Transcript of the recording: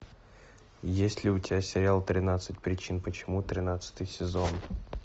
есть ли у тебя сериал тринадцать причин почему тринадцатый сезон